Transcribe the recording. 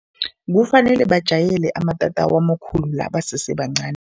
Kufanele bajayele amatatawu amakhulu la basese bancani.